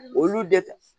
Olu de